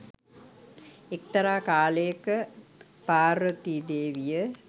එක්තරා කාලයක පාර්වතී දේවිය